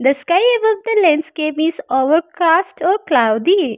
The sky above the landscape is overcast or cloudy.